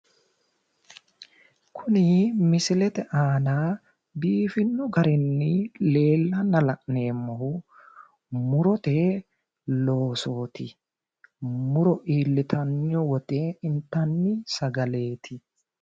Kunni misilete aanna biifino garinni leellanna la'neemohu murote losooti muro iilittano woyite intanni sagaleeti.